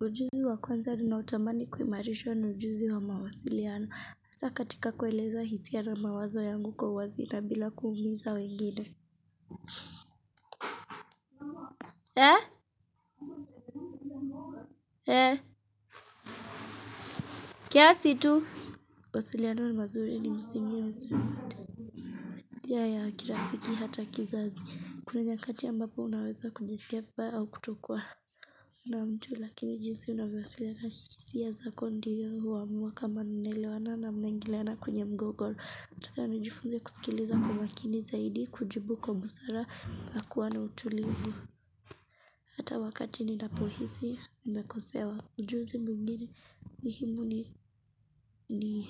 Ujuzi wa kwanza ninaotamani kuhimarishwa ni ujuzi wa mawasiliano. Saka katika kueleza hisia na mawazo yangu kwa uwazi na bila kuumiza wengine. Eh, eh, kiasi tu. Wasiliano ni mazuri ni msingi ya msingi. Njia ya, kirafiki hata kizazi. Kuni nyakati ambapo unaweza kujisikia vibaya au kutokuwa. Na mtu lakini jinsi unawewasiliana hisiya zako ndio huamua kama mnaelewana na mnaingilana kwenye mgogoro. Nataka nijifunze kusikiliza kwa makini zaidi kujibu kwa busara na kuwa na utulivu Hata wakati ninapohisi nimekosewa Ujuzi mwingine muhimu ni ni